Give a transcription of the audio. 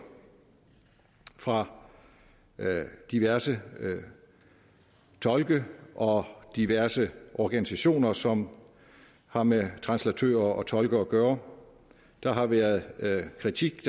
fra diverse tolke og diverse organisationer som har med translatører og tolke at gøre der har været kritik